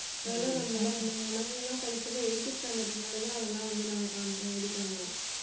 முன்னாடி எல்லாம் நம்மெல்லாம் படிச்சப்ப eighth standard க்கு மேல தான் அதெல்லாம் வந்து நாங்க க~ இது பண்ணோம்